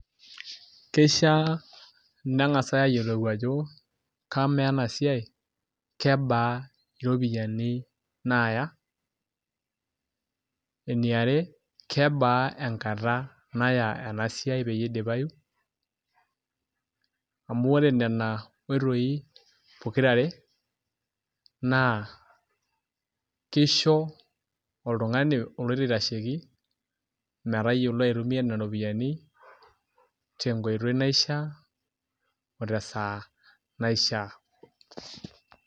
Kishaa nenkasai aayiolou ajo, kamaa ena siai kebaa iropiyiani naaya. Eniare kebaa enkata naya ena siai peyei eidipayu, amu ore nena oitoi pokirare naa kisho oltungani oloito aitashoki metayiolo aitumiya nena ropiyiani tenkoitoi naishaa otesaa naishaa.